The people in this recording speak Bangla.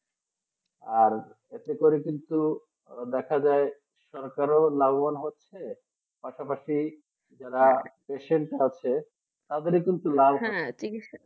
আর এতে করে কিন্তু দেখা যায় যে সরকারও লাভবান হচ্ছে পাশাপাশি যারা pesant আছে তাদের কিন্তু